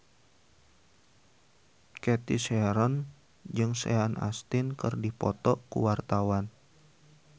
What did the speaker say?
Cathy Sharon jeung Sean Astin keur dipoto ku wartawan